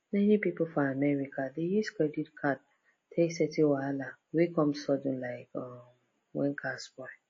many people for america dey use credit card take settle wahala wey come sudden like um when car spoil